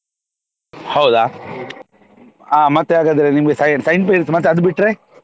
ಹೌದಾ ಹ ಮತ್ತೆ ಹಾಗಾದ್ರೆ ನಿಮ್ಗೆ Saint~ Saint Mary’s ಮತ್ತೆ ಅದು ಬಿಟ್ರೆ